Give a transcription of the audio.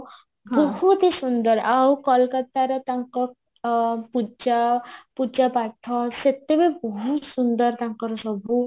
ବହୁତହି ସୁନ୍ଦର ଆଉ କୋଲକାତାର ତାଙ୍କ ପୂଜା ପୂଜା ପାଠ ବି ବହୁତ ସୁନ୍ଦର ତାଙ୍କର ସବୁ